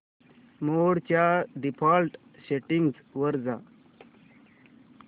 मोड च्या default settings वर जा